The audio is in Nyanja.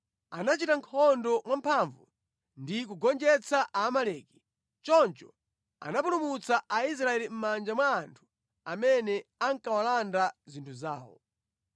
Anachita nkhondo mwamphamvu ndi kugonjetsa Aamaleki. Choncho anapulumutsa Aisraeli mʼmanja mwa anthu amene ankawalanda zinthu zawo.